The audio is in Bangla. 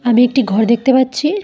আমি একটি ঘর দেখতে পাচ্ছি।